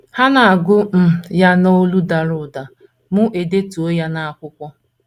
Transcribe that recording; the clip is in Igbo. Ha na - agụ um ya n’olu dara ụda, mụ edetuo ya n’akwụkwọ.